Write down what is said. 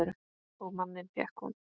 Og manninn fékk hún.